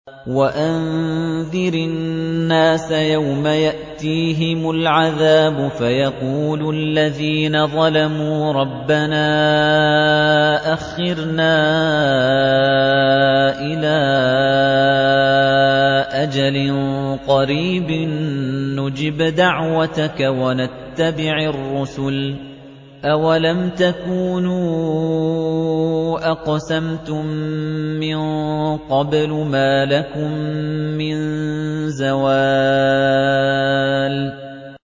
وَأَنذِرِ النَّاسَ يَوْمَ يَأْتِيهِمُ الْعَذَابُ فَيَقُولُ الَّذِينَ ظَلَمُوا رَبَّنَا أَخِّرْنَا إِلَىٰ أَجَلٍ قَرِيبٍ نُّجِبْ دَعْوَتَكَ وَنَتَّبِعِ الرُّسُلَ ۗ أَوَلَمْ تَكُونُوا أَقْسَمْتُم مِّن قَبْلُ مَا لَكُم مِّن زَوَالٍ